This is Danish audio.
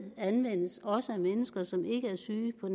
anvendes også af mennesker som ikke er syge på